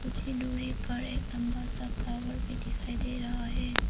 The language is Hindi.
दुरी पर एक लंबा सा टावर भी दिखाई दे रहा है।